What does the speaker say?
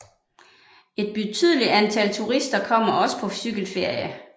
Et betydelig antal turister kommer også på cykelferie